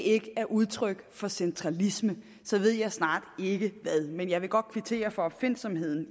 ikke det er udtryk for centralisme så ved jeg snart ikke hvad men jeg vil godt kvittere for opfindsomheden